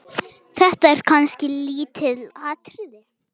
Þetta eru kannski lítil atriði.